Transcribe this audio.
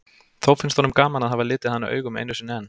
Þó finnst honum gaman að hafa litið hana augum einu sinni enn.